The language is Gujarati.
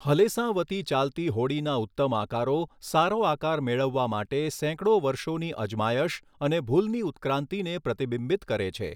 હલેસાં વતી ચાલતી હોડીના ઉત્તમ આકારો સારો આકાર મેળવવા માટે સેંકડો વર્ષોની અજમાયશ અને ભૂલની ઉત્ક્રાંતિને પ્રતિબિંબિત કરે છે.